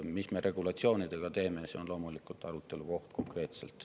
Mis me regulatsioonidega teeme, see konkreetselt on loomulikult arutelu koht.